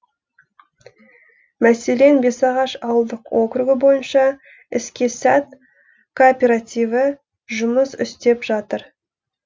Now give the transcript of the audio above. мәселен бесағаш ауылдық округі бойынша іске сәт кооперативі жұмыс істеп жатыр